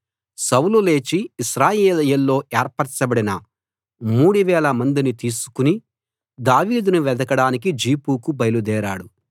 సౌలు లేచి ఇశ్రాయేలీయుల్లో ఏర్పరచబడిన 3000 మందిని తీసుకు దావీదును వెదకడానికి జీఫుకు బయలుదేరాడు